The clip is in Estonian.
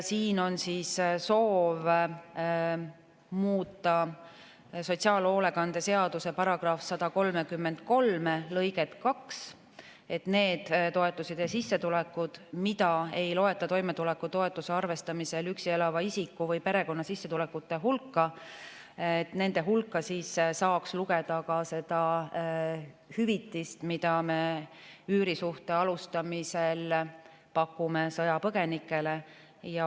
Siin on soov muuta sotsiaalhoolekande seaduse § 133 lõiget 2, et nende toetuste ja sissetulekute hulka, mida ei loeta toimetulekutoetuse arvestamisel üksi elava isiku või perekonna sissetulekute hulka, saaks lugeda ka seda hüvitist, mida me üürisuhte alustamisel pakume sõjapõgenikele.